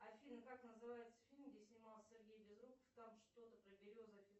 афина как называется фильм где снимался сергей безруков там что то про березы